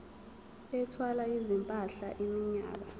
ethwala izimpahla iminyaka